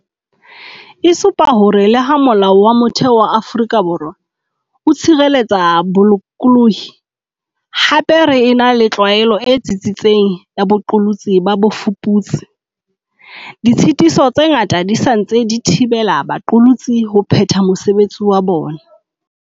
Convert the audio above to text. E supa hore le ha Molao wa Motheo wa Afrika Borwa o tshireletsa bolokolohi, hape re ena le tlwaelo e tsitsitseng ya boqolotsi ba bofuputsi, ditshitiso tse ngata di sa ntse di thibela baqolotsi ho phetha mosebetsi wa bona.